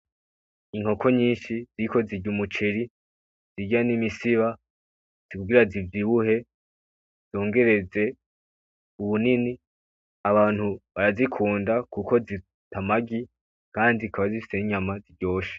Inkoko nyishi ziriko zirya umuceri, zirya n'imisiba kugira zivyibuhe zongereze ubunini .Abantu barazikunda kuko Zita amagi Kandi zikaba zifise n'inyama ziryoshe.